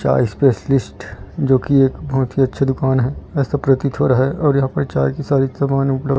चाय स्पेशलिस्ट जो की एक बहुत ही अच्छी दुकान है ऐसा प्रतीत हो रहा है और यहां पे चाय की सारी समान उपलब्ध--